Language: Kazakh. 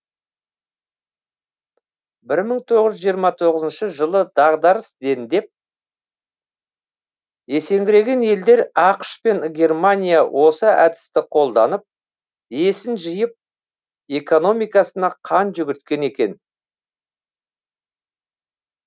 бір мың тоғыз жүз жиырма тоғызыншы жылы дағдарыс дендеп есеңгіреген елдер ақш пен германия осы әдісті қолданып есін жиып экономикасына қан жүгірткен екен